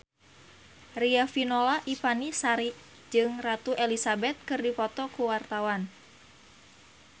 Riafinola Ifani Sari jeung Ratu Elizabeth keur dipoto ku wartawan